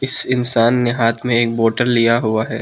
इस इंसान ने हाथ में एक बोटल लिया हुआ है।